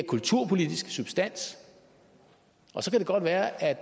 kulturpolitiske substans så kan det godt være at